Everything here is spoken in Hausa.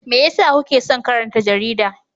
Me yasa kuke son karanta jarida?